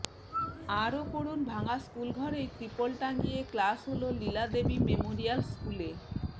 আরও পড়ুন ভাঙা স্কুলঘরেই ত্রিপল টাঙিয়ে ক্লাস হল লীলাদেবী মেমোরিয়াল স্কুলে